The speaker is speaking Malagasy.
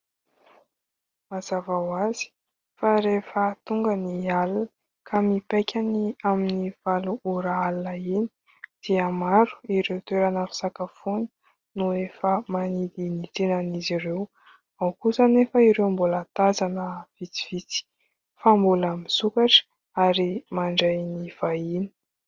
Mazava ho azy fa rehefa tonga ny alina ka mipaika ny amin'ny valo ora alina iny dia maro ireo toerana fisakafoana no efa manidy ny tsenan'izy ireo. Ao kosa anefa ireo mbola tazana vitsivitsy fa mbola misokatra ary mandray ny vahiny.